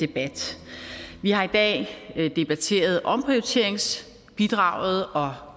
debat vi har i dag debatteret omprioriteringsbidraget og